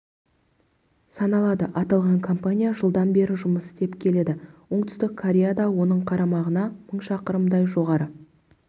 саналады аталған компания жылдан бері жұмыс істеп келеді оңтүстік кореяда оның қарамағына мың шақырымдай жоғары